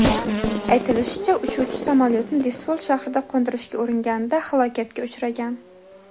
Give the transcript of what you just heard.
Aytilishicha, uchuvchi samolyotni Dizful shahrida qo‘ndirishga uringanida halokatga uchragan.